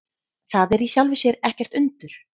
Það er í sjálfu sér ekkert undur.